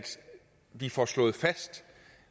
vi får slået fast